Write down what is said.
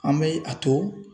An bɛ a to